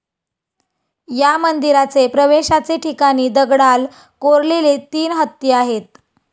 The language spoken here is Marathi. या मंदिराचे प्रवेशाचे ठिकाणी दगडाल कोरलेले तीन हत्ती आहेत.